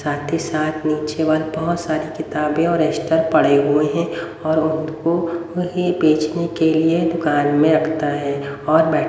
साथ ही साथ नीचे बहोत सारी किताबे और रजिस्टर पड़े हुए हैं और वो उनको कहीं बेचने के लिए दुकान में रखता है और--